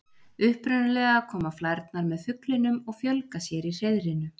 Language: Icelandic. Upprunalega koma flærnar með fuglinum og fjölga sér í hreiðrinu.